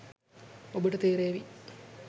ඔබට තේරේවි